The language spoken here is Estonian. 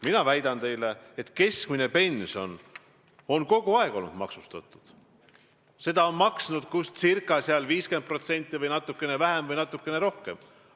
Mina väidan teile, et keskmine pension on kogu aeg olnud maksustatud, seda on maksnud ca 50% või natukene vähem või natukene rohkem.